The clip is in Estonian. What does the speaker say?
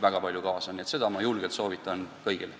Seda ma soovitan julgelt kõigile.